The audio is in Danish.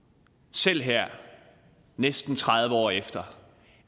selv her næsten tredive år efter